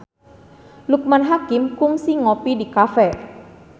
Loekman Hakim kungsi ngopi di cafe